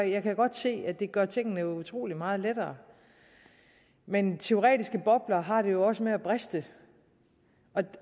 jeg kan godt se at det gør tingene utrolig meget lettere men teoretiske bobler har det jo også med at briste